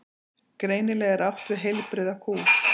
Greinilega er átt við heilbrigða kú.